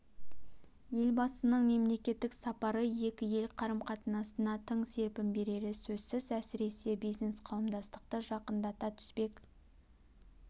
елбасының мемлекеттік сапары екі ел қарым қатынасына тың серпін берері сөзсіз әсіресе бизнес қауымдастықты жақындата түспек